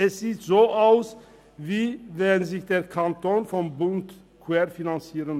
Es sieht so aus, als liesse sich der Kanton vom Bund querfinanzieren.